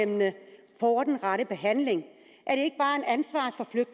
og at den rette behandling